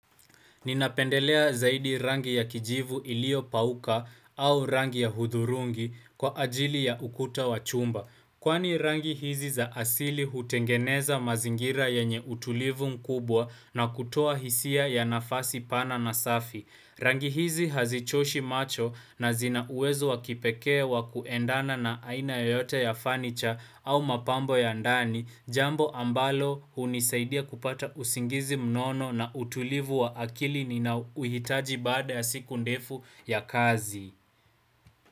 Ninapendelea zaidi rangi ya kijivu iliyopauka au rangi ya hudhurungi kwa ajili ya ukuta wa chumba. Kwani rangi hizi za asili hutengeneza mazingira yenye utulivu mkubwa na kutoa hisia ya nafasi pana na safi. Rangi hizi hazichoshi macho na zina uwezo wa kipekee wa kuendana na aina yoyote ya fanicha au mapambo ya ndani, jambo ambalo hunisaidia kupata usingizi mnono na utulivu wa akili ninaouhitaji baada ya siku ndefu ya kazi.